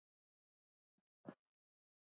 Össur drjúgur með sig.